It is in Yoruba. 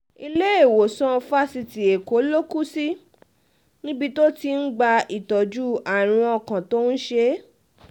iléèwòsàn fásitì èkó ló ló kù sí níbi tó ti ń gba ìtọ́jú àrùn ọkàn tó ń ṣe é